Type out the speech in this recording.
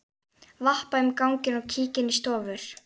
Vappa um ganginn og kíki inn í stofur.